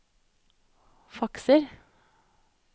fakser